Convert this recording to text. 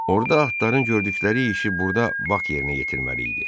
Orda atların gördükləri işi burda Bak yerinə yetirməli idi.